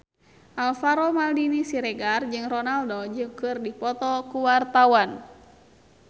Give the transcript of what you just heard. Alvaro Maldini Siregar jeung Ronaldo keur dipoto ku wartawan